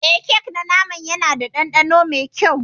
Eh kek na naman Yana da dandano mai kyau.